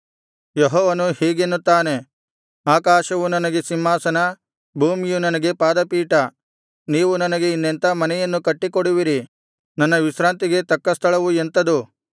ಯೆಹೋವನು ಹೀಗೆನ್ನುತ್ತಾನೆ ಆಕಾಶವು ನನಗೆ ಸಿಂಹಾಸನ ಭೂಮಿಯು ನನಗೆ ಪಾದಪೀಠ ನೀವು ನನಗೆ ಇನ್ನೆಂಥಾ ಮನೆಯನ್ನು ಕಟ್ಟಿಕೊಡುವಿರಿ ನನ್ನ ವಿಶ್ರಾಂತಿಗೆ ತಕ್ಕ ಸ್ಥಳವು ಎಂಥದು